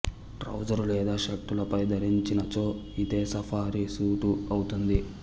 trouser లేదా షార్ట్ ల పై ధరించినచో ఇదే సఫారి సూటు అవుతుంది